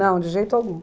Não, de jeito algum.